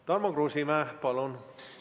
Tarmo Kruusimäe, palun!